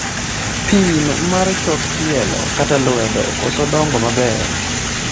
pim mar chok tielo kata lwedo koso dongo maber